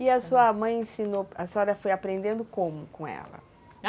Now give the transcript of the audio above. E a sua mãe ensinou, a senhora foi aprendendo como com ela?